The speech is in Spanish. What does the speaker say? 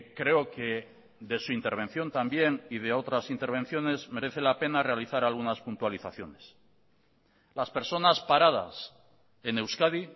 creo que de su intervención también y de otras intervenciones merece la pena realizar algunas puntualizaciones las personas paradas en euskadi